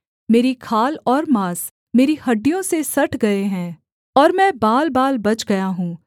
मेरी खाल और माँस मेरी हड्डियों से सट गए हैं और मैं बालबाल बच गया हूँ